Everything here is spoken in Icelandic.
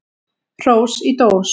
Hrós í dós.